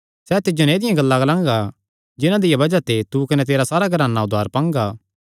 सैह़ तिज्जो नैं ऐदिआं गल्लां ग्लांगा जिन्हां दिया बज़ाह ते तू कने तेरा सारा घराना उद्धार पांगा